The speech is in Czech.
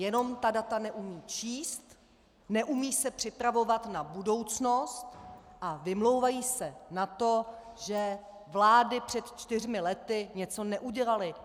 Jenom ta data neumí číst, neumí se připravovat na budoucnost a vymlouvají se na to, že vlády před čtyřmi lety něco neudělaly.